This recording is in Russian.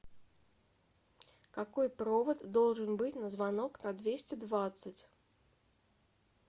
какой провод должен быть на звонок на двести двадцать